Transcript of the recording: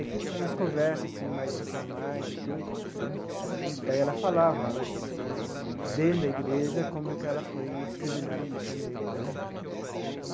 E aqui, nas conversas assim mais informais e tudo, aí ela falava né, dentro da igreja, como que ela foi discriminada por ser negra.